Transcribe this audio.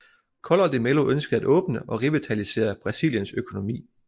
Collor de Mello ønskede at åbne og revitalisere Brasiliens økonomi